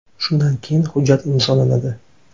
Shundan keyin hujjat imzolanadi.